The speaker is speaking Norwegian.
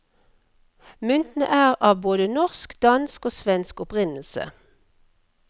Myntene er av både norsk, dansk og svensk opprinnelse.